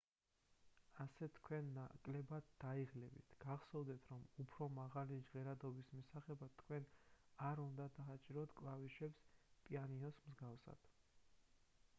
ასე თქვენ ნაკლებად დაიღლებით გახსოვდეთ რომ უფრო მაღალი ჟღერადობის მისაღებად თქვენ არ უნდა დააჭიროთ კლავიშებს პიანინოს მსგავსად